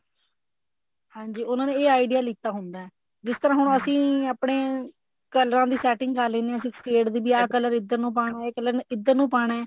ਹਾਂਜੀ ਉਹਨਾ ਨੇ ਇਹ idea ਲੀਤਾ ਹੁੰਦਾ ਜਿਸ ਤਰ੍ਹਾਂ ਹੁਣ ਅਸੀਂ ਆਪਣੇ ਕਲਰਾਂ ਦੀ setting ਕਰ ਲਿੰਦੇ ਹਾਂ sixty eight ਦੀ ਵੀ ਆਹ color ਇੱਧਰ ਨੂੰ ਪਾਣਾ ਇਹ color ਇੱਧਰ ਨੂੰ ਪਾਣਾ